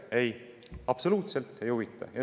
Ei, absoluutselt ei huvita!